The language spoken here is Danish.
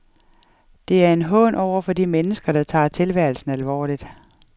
Det er en hån over for de mennesker, der tager tilværelsen alvorlig.